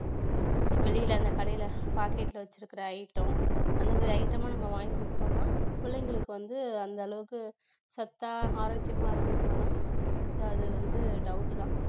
வெளியில அந்த கடையில பாக்கெட்ல வச்சிருக்கிற item அந்த மாதிரி item எல்லாம் நம்ம வாங்கி கொடுத்தோம்னா பிள்ளைங்களுக்கு வந்து அந்தளவுக்கு சத்தா ஆரோக்கியமா இருக்குமானா அது வந்து doubt தான்